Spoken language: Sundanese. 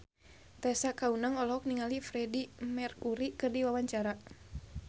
Tessa Kaunang olohok ningali Freedie Mercury keur diwawancara